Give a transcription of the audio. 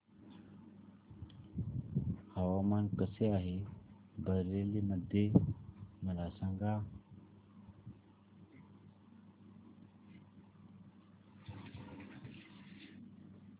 हवामान कसे आहे बरेली मध्ये मला सांगा